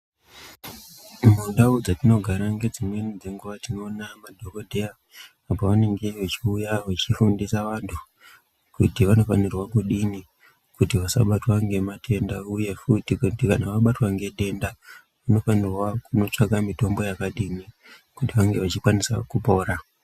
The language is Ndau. Mundau dzatinogara nedzimweni dzenguva tinoona madhogodheya apo vanenge vachiuya vachifundisa vantu kuti vanofanirwa kudini kuti vasabatwa ngematenda, uye futi kuti kana vabatwa ngedenda vanofanirwa kunotsvaka mitombo yakadini. Kuti vange vachikwanisa kupora.